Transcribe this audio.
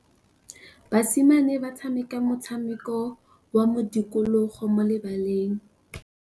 Basimane ba tshameka motshameko wa modikologô mo lebaleng.